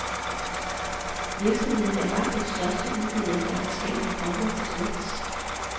Virksomheden er langt den største udbyder af forskellige former for snacks.